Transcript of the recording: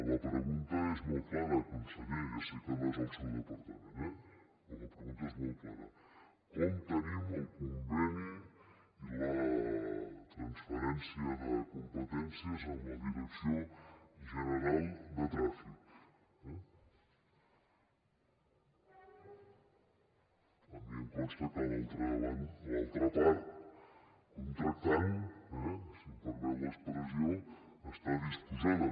la pregunta és molt clara conseller ja sé que no és el seu departament eh però la pregunta és molt clara com tenim el conveni la transferència de competències amb la direcció general de trànsit eh a mi em consta que l’altra part contractant eh si em permet l’expressió hi està disposada